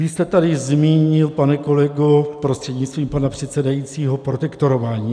Vy jste tady zmínil, pane kolego prostřednictvím pana předsedajícího, protektorování.